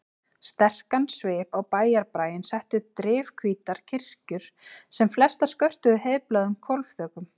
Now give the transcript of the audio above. Sterkastan svip á bæjarbraginn settu drifhvítar kirkjur sem flestar skörtuðu heiðbláum hvolfþökum.